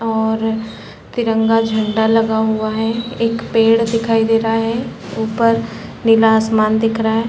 और तिरंगा झंडा लगा हुआ है एक पेड़ दिखाई दे रहा है उपर नीला आसमान दिख रहा हैं ।